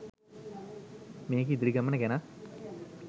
මේකේ ඉදිරි ගමන ගැනත්